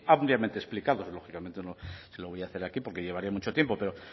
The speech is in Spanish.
ampliamente explicados lógicamente no se lo voy a hacer aquí porque llevaría mucho tiempo pero